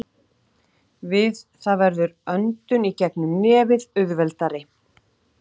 Við það verður öndun í gegnum nefið auðveldari.